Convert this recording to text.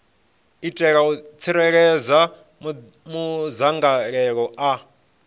itela u tsireledza madzangalelo a